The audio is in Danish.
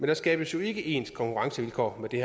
der skabes ikke ens konkurrencevilkår med det